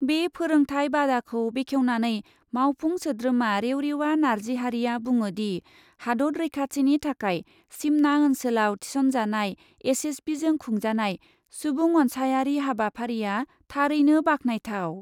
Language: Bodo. बे फोरोंथाय बादाखौ बेखेवनानै मावफुं सोद्रोमा रेवरेवा नार्जिहारीआ बुङोदि हादत रैखाथिनि थाखाय सिमना ओन्सोलाव थिसनजानाय एसएसबिजों खुंजानाय सुबुं अन्सायारि हाबाफारिया थारैनो बाखनायथाव।